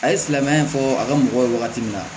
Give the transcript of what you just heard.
A ye silamɛya fɔ a ka mɔgɔw ye wagati min na